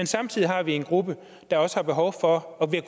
samtidig har en gruppe der også har behov for og vil